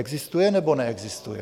Existuje nebo neexistuje?